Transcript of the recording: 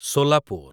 Solapur